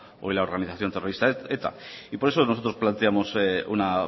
hoy la organización terrorista eta y por eso nosotros planteamos una